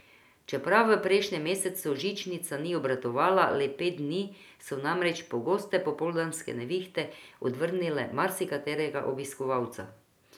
Čeprav v prejšnjem mesecu žičnica ni obratovala le pet dni, so namreč pogoste popoldanske nevihte odvrnile marsikaterega obiskovalca.